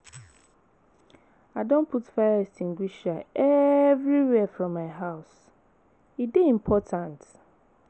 I don put fire extiguisher everywhere for my house, e dey important.